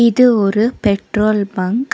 இது ஒரு petrol bunk .